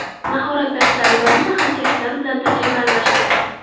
Mahorat darslari davomida hamkasblarim bilan tajriba almashdik.